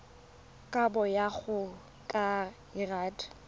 kabo go ya ka lrad